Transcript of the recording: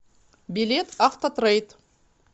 билет автотрейд